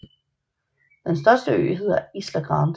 Den største ø hedder Isla Grande